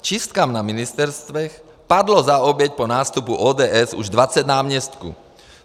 Čistkám na ministerstvech padlo za oběť po nástupu ODS už 20 náměstků.